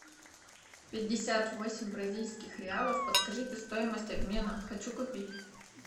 пятьдесят восемь бразильских реалов подскажите стоимость обмена хочу купить